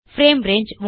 frame range